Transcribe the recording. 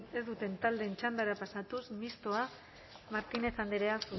ez duten taldeen txandara pasatuz mistoa martínez andrea